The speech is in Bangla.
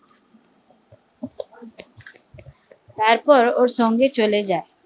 তার পর ওর সঙ্গে চলে যায়